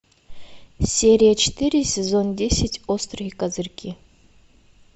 серия четыре сезон десять острые козырьки